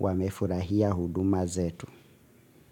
wamefurahia huduma zetu.